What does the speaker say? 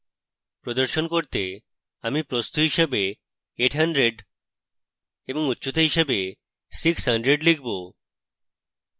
প্রদর্শন করতে আমি প্রস্থ হিসাবে 800 এবং উচ্চতা হিসাবে 600 লিখব